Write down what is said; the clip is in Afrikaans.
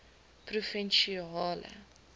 provinsiale